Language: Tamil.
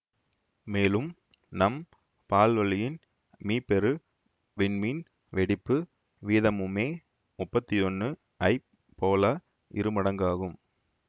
மேலும் நம் பால்வழியின் மீப்பெரு விண்மீன் வெடிப்பு வீதமும்மே முப்பத்தி ஒன்னு ஐப் போல இருமடங்காகும்